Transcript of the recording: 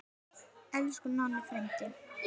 Elsku Nonni frændi.